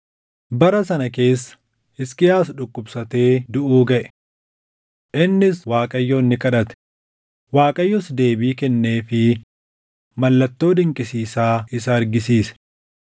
Bara sana keessa Hisqiyaas dhukkubsatee duʼuu gaʼe. Innis Waaqayyoon ni kadhate; Waaqayyos deebii kennee fi mallattoo dinqisiisaa isa argisiise.